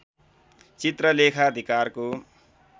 चित्र लेखाधिकारको